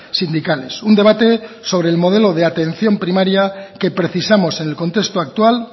sindicales un debate sobre el modelo de atención primaria que precisamos en el contexto actual